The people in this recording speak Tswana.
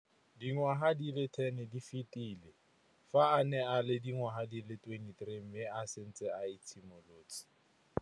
Dingwaga di le 10 tse di fetileng, fa a ne a le dingwaga di le 23 mme a setse a itshimoletse.